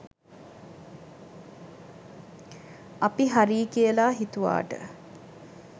අපි හරියි කියලා හිතුවාට